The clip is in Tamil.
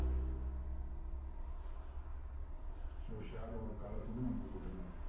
so shadow வோட colour வந்து நம்ம இங்க கொடுத்துக்கலாம்.